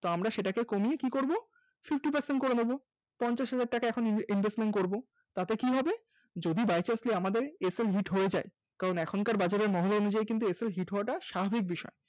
আমরা সেটাকে কমিয়ে কি করব Fifty Percent করে দেবো পঞ্চাশ হাজার টাকা এখন Investment করব তাতে কি হবে যদি By chancely আমাদের sl hit হয়ে যায় কারণ এখনকার বাজারের মহল অনুযায়ী কিন্তু sl hit হওয়াটা স্বাভাবিক বিষয়